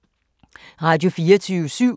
Radio24syv